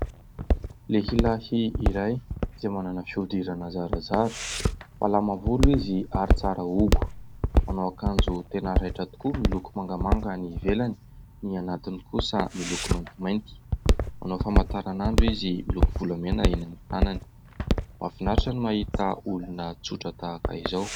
Lehilahy iray izay manana fihodirana zarazara, malama volo izy ary tsara hogo, manao akanjo tena raitra tokoa: miloko mangamanga ny ivelany, ny anatiny kosa miloko maintimainty. Manao famataran'andro izy miloko volamena eny amin'ny tànany. Mafinaritra ny mahita olona tsotra tahaka izao.